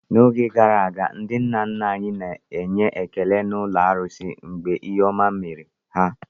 N'oge gara aga, ndị nna nna anyị na-enye ekele n'ụlọ arusi mgbe ihe ọma mere ha.